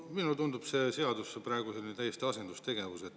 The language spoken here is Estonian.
Minule tundub see seadus praegu täiesti asendustegevusena.